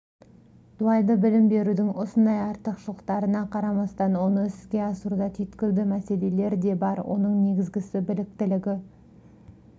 дуальды білім берудің осындай артықшылықтарына қарамастан оны іске асыруда түйткілді мәселелер де бар оның негізгісі біліктілігі